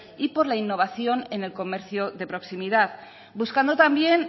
y por la innovación en el comercio de proximidad buscando también